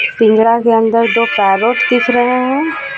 पिंजरा के अंदर दो पैरोट दिख रहे हैं